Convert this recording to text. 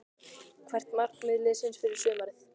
Hvert er markmið liðsins fyrir sumarið?